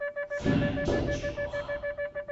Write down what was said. франкеншлюха